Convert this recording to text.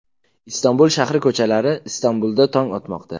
Istanbul shahri ko‘chalari Istanbulda tong otmoqda.